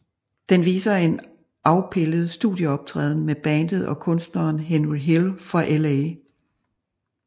Den viser en afpildet studieoptræden med bandet og kunstneren Henry Hill fra Los Angeles